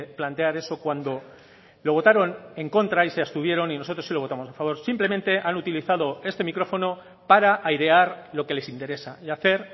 plantear eso cuando lo votaron en contra y se abstuvieron y nosotros sí lo votamos a favor simplemente han utilizado este micrófono para airear lo que les interesa y hacer